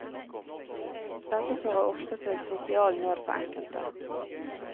Dette fører ofte til sosial nød for enkelte.